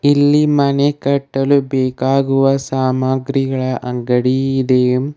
ಇಲ್ಲಿ ಮನೆ ಕಟ್ಟಲು ಬೇಕಾಗುವ ಸಾಮಗ್ರಿಗಳ ಅಂಗಡಿ ಇದೆ.